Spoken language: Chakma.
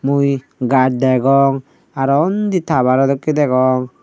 mui gach degong aro undi towero dokke degong.